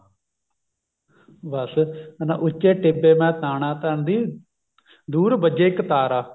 ਬਸ ਉੱਚੇ ਟਿੱਬੇ ਮੈਂ ਤਾਨਾ ਤਨਦੀ ਦੁਰ ਵੱਜੇ ਇੱਕ ਤਾਰਾ